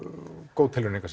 góð tilraun engu að